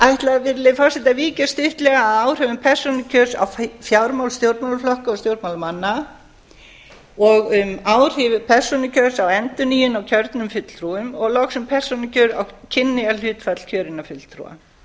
virðulegi forseti ég ætla að víkja stuttlega að áhrifum persónukjörs á fjármál stjórnmálaflokka og stjórnmálamanna og um áhrif persónukjörs á endurnýjun á kjörnum fulltrúum og loks um persónukjör á kynjahlutfall kjörinna fulltrúa